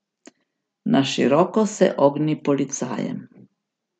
Na široko se ogni policajem.